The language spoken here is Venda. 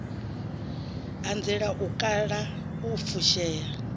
anzela u kala u fushea